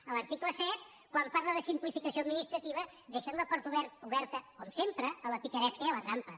a l’article set quan parlen de simplificació administrativa deixen la porta oberta com sempre a la picaresca i a la trampa